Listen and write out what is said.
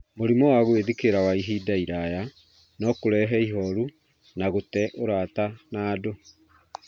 Mũrimũ wa gwĩthikĩra wa ihinda iraya no kũrehe ihooru na gũtee ũrata na andũ.